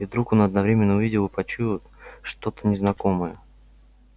и вдруг он одновременно увидел и почуял что-то незнакомое